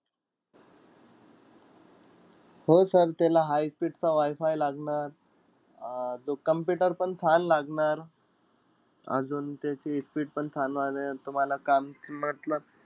हो sir त्याला high speed चा WiFi लागणार. अं computer पण छान लागणार. अजून त्याची speed पण . तुम्हाला काम मतलब